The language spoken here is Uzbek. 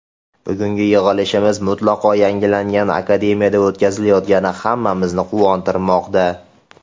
Bugungi yig‘ilishimiz mutlaqo yangilangan Akademiyada o‘tkazilayotgani hammamizni quvontirmoqda.